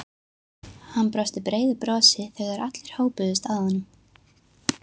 Hann brosti breiðu brosi þegar allir hópuðust að honum.